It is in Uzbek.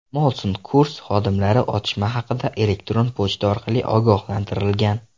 Molson Coors xodimlari otishma haqida elektron pochta orqali ogohlantirilgan.